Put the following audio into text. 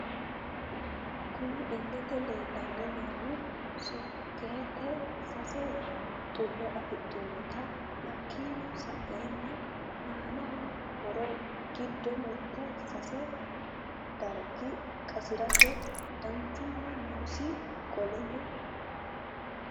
Kunni illete leelani noohu sokeete sase xullo afixinote hakiino sa'eena aano horro giddo mitte sese dariga qasirate danchuma noosi qoleno..